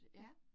Ja